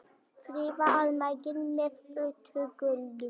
Friða almenning með útgjöldum